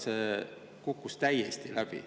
See kukkus täiesti läbi.